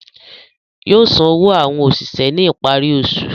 Yóò san owó àwọn òṣìṣẹ́ ní ìparí oṣù